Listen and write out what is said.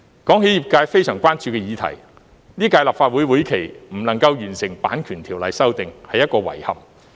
談起業界非常關注的議題，在本屆立法會會期未能完成《版權條例》修訂是一個遺憾。